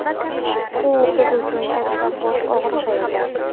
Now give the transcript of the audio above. U biz uchun katta bosh og‘rig‘i edi.